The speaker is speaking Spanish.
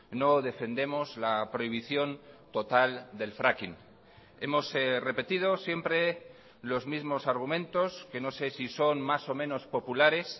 no defendemos la prohibición total del fracking hemos repetido siempre los mismos argumentos que no sé si son más o menos populares